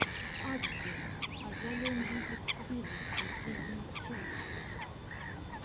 игги азалия мьюзик виво последняя часть